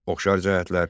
Oxşar cəhətlər.